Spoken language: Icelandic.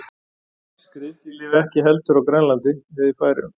Skriðdýr lifa ekki heldur á Grænlandi eða í Færeyjum.